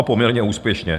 A poměrně úspěšně.